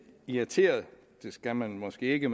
irriteret det skal man måske ikke